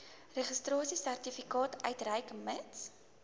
registrasiesertifikaat uitreik mits